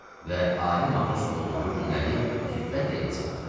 və adi matros olduğu günləri xiffətlə yada salırdı.